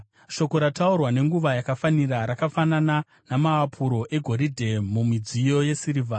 Shoko rataurwa nenguva yakafanira rakafanana namaapuro egoridhe mumidziyo yesirivha.